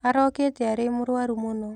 Araũkĩte arĩ mũrũaru mũno.